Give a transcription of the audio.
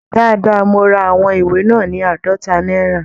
Dáadáa, mo ra àwọn ìwé náà ní àádọ́ta náírà